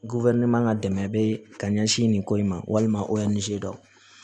man ka dɛmɛ bɛ ka ɲɛsin nin ko in ma walima o nize